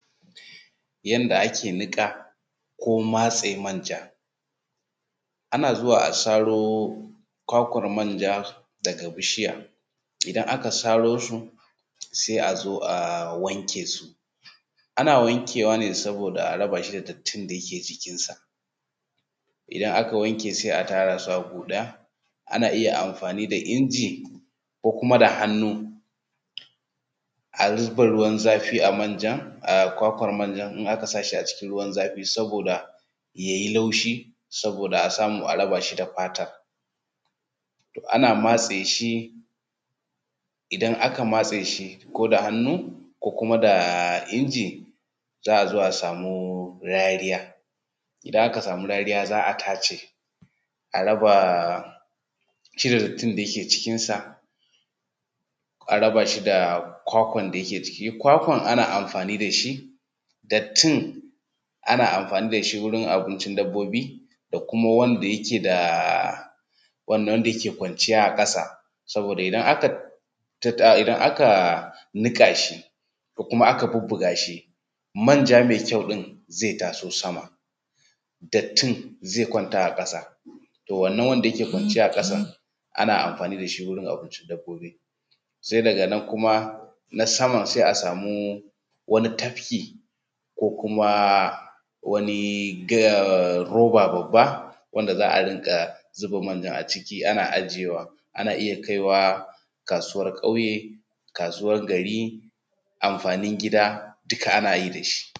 Yanda ake niƙa ko matse manja. Ana zuwa a saro kwakwar manja daga bishiya, idan aka saro su sai a zo a wanke su. Ana wankewa ne saboda a raba shi da dattin da yake jikin sa. Idan aka wanke sai a tara su a gu ɗaya, ana iya amfani da inji ko kuma da hannu a zuba ruwan zafi a manja a kwakwar manjan in aka sa shi a cikin ruwan zafi saboda ya yi laushi saboda a samu a raba shi da fatar. Toh ana matse shi idan aka matse shi ko da hannu ko kuma da injiza a zo a samu rariya, idan aka samu rariya za a tace a raba shi da dattin da yake cikin sa a raba shi da kwakwar da yake jiki. Kwakwan ana amfani da shi, dattin ana amfani da shi wurin abincin dabbobi da kuma wanda yake da wannan wanda yake kwanciya a ƙasa, saboda idan aka niƙa shi ko kuma aka bubbuga shi manja mai kyau ɗin zai taso sama dattin zai kwanta a ƙasa, toh wannan wanda yake kwanciya a ƙasa ana amfani da shi wurin abincin dabbobi. Sai daga nan kuma na saman sai a samu wani tabki ko kuma wani gaa roba babba wanda za a riƙa zuba manjar a ciki ana ajiyewa. Ana iya kaiwa kasuwar ƙauye, kasuwa gari, amfanin gida duk.